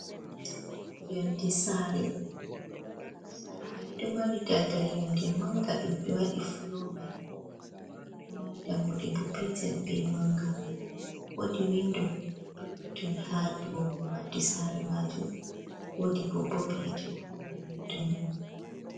Yonde saare maini ɗo mari daldal yonde manga ɗum ɓe waɗi flomai do mari dammude bo petel be manga, wodi windo perppeton ha do madi saare majum wodi bo bob yite ha kombi windo man.